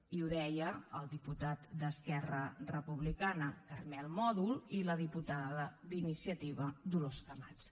i ho deien el diputat d’esquerra republicana carmel mòdol i la diputada d’iniciativa dolors camats